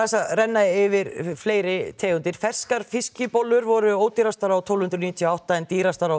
renna yfir fleiri tegundir ferskar fiskibollur voru ódýrastar á tólf hundruð níutíu og átta en dýrastar